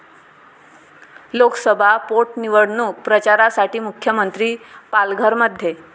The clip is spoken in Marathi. लोकसभा पोटनिवडणूक प्रचारासाठी मुख्यमंत्री पालघरमध्ये